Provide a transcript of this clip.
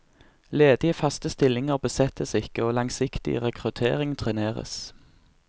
Ledige faste stillinger besettes ikke, og langsiktig rekruttering treneres.